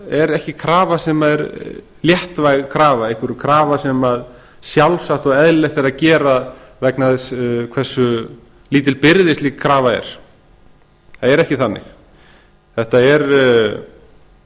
er ekki léttvæg krafa einhver krafa sem sjálfsagt og eðlilegt er að gera vegna þess hversu lítil byrði slík krafa er það er ekki þannig þetta er